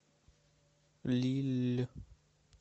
лилль